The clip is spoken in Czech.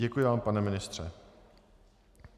Děkuji vám, pane ministře.